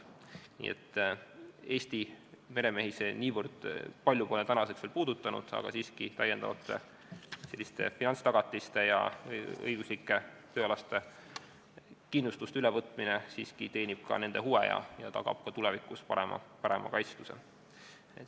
Nii et Eesti meremehi see niivõrd palju pole veel puudutanud, aga siiski teenib täiendavate finantstagatiste ja õiguslike tööalaste kindlustuskohustuste ülevõtmine ka nende huve ja tagab tulevikus parema kaitstuse.